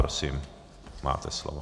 Prosím, máte slovo.